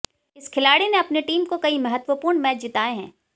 इस खिलाड़ी ने अपनी टीम को कई महत्वपूर्ण मैच जिताए हैं